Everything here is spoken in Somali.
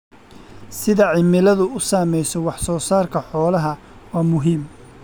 Sida cimiladu u saamayso wax soo saarka xoolaha waa muhiim.